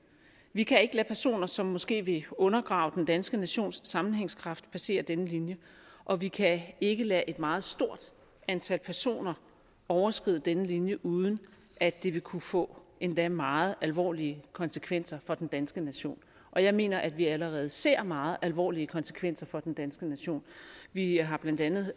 vi kan ikke lade personer som måske vil undergrave den danske nations sammenhængskraft passere denne linje og vi kan ikke lade et meget stort antal personer overskride denne linje uden at det vil kunne få endda meget alvorlige konsekvenser for den danske nation og jeg mener at vi allerede ser meget alvorlige konsekvenser for den danske nation vi har blandt andet